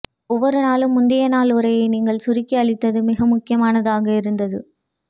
ஒவ்வொரு நாளும் முந்தையநாள் உரையை நீங்கள் சுருக்கி அளித்தது மிகமுக்கியமானதாக இருந்தது